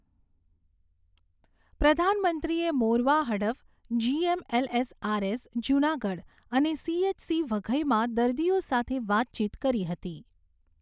પ્રધાનમંત્રીએ મોરવા હડફ, જીએમએલઆરએસ જૂનાગઢ અને સીએચસી વઘઈમાં દર્દીઓ સાથે વાતચીત કરી હતી.